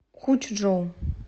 хучжоу